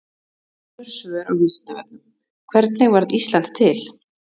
Önnur svör á Vísindavefnum: Hvernig varð Ísland til?